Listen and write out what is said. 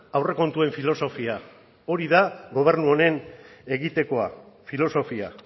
aurrekontuen filosofia hori da gobernu honen egitekoa filosofia